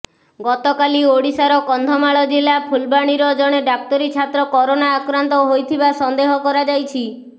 ଗତକାଲି ଓଡ଼ିଶାର କନ୍ଧମାଳ ଜିଲ୍ଲା ଫୁଲବାଣୀର ଜଣେ ଡାକ୍ତରୀ ଛାତ୍ର କରୋନା ଆକ୍ରାନ୍ତ ହୋଇଥିବା ସନ୍ଦେହ କରାଯାଇଛି